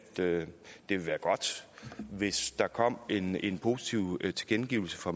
det vil være godt hvis der kom en en positiv tilkendegivelse fra